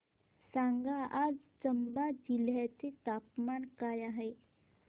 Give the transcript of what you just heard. सांगा आज चंबा जिल्ह्याचे तापमान काय आहे